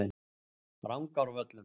Rangárvöllum